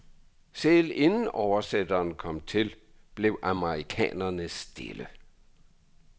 Selv inden oversætteren kom til, blev amerikanerne stille.